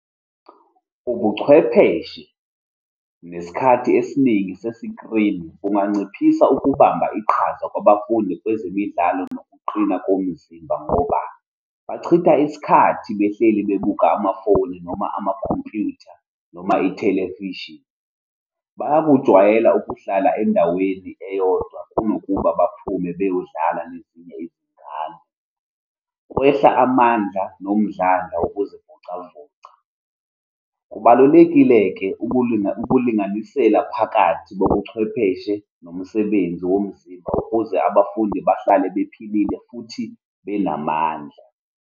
Ubuchwepheshe nesikhathi esiningi sesikrini kunganciphisa ukubamba iqhaza kwabafundi kwezemidlalo nokuqina komzimba, ngoba bachitha isikhathi behleli bebuka amafoni, noma amakhompuyutha, noma ithelevishini. Bayakujwayela ukuhlala endaweni eyodwa kunokuba baphume beyodlala nezinye izingane. Kwehla amandla nomdlandla wokuzivocavoca. Kubalulekile-ke ukulinganisela phakathi kobuchwepheshe nomsebenzi womzimba ukuze abafundi bahlale bephilile futhi benamandla.